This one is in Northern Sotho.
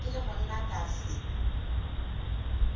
ke le monna ka se